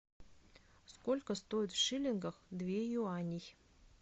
сколько стоит в шиллингах две юани